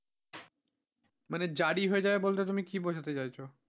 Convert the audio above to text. মানে জারি হয়ে যাবে বলতে তুমি কি বোঝাতে চাইছো।